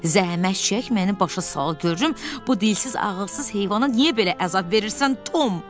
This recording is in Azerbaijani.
Zəhmət çək, məni başa sal görüm bu dilsiz ağılsız heyvana niyə belə əzab verirsən Tom?